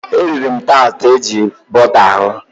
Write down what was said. E riri m taatị eji bọta hụ.